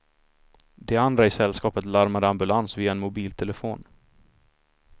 De andra i sällskapet larmade ambulans via en mobiltelefon.